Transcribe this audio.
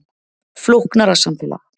Flóknara samfélag